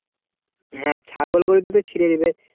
হ্যাঁ ছাগল গরুতে তো ছিঁড়ে দেবে।